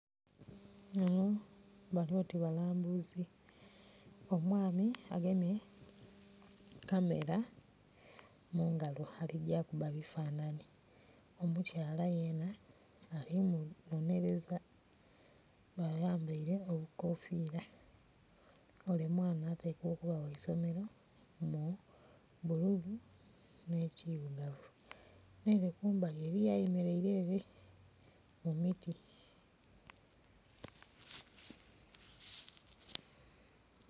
Bano bali oti balambuzi. Omwami agemye kamera mu ngalo aligya kuba bifananhi, omukyala yena ali munonhereza, bayambeire obukofira. Ole mwana atekwa okuba gha isomero mu bululu n'ekilugavu, n'ere kumbali eriyo ayemeleire ere mu miti.